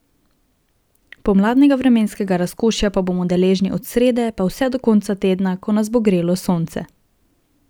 Pomladnega vremenskega razkošja pa bomo deležni od srede pa vse do konca tedna, ko nas bo grelo sonce.